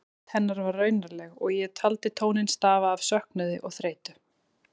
Rödd hennar var raunaleg og ég taldi tóninn stafa af söknuði og þreytu.